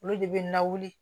Olu de bɛ na wuli